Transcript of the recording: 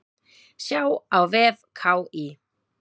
Sjá á vef KÍ.